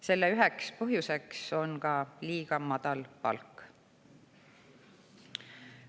Selle üheks põhjuseks on ka liiga madal palk.